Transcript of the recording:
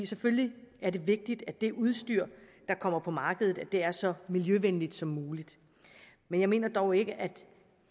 selvfølgelig er det vigtigt at det udstyr der kommer på markedet er så miljøvenligt som muligt men jeg mener dog ikke at